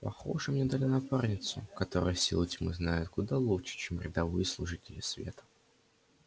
похоже мне дали напарницу которую силы тьмы знают куда лучше чем рядовые служители света